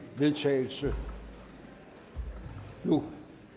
vedtagelse nu